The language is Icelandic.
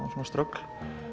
ströggl